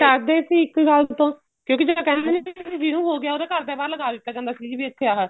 ਡਰਦੇ ਸੀ ਇਸ ਗੱਲ ਤੋਂ ਕਿਉਂਕਿ ਜਿਹੜਾ ਕਹਿੰਦੇ ਨੀ ਸੀ ਜਿਹਨੂੰ ਹੋ ਗਿਆ ਉਹਦੇ ਘਰ ਦੇ ਬਾਹਰ ਲਗਾ ਦਿੱਤਾ ਜਾਂਦਾ ਸੀ ਜਿਵੇਂ ਇੱਥੇ ਆ